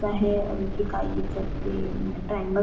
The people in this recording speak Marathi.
आहे आणखी काय ईचारते अ ट्रँगल्स --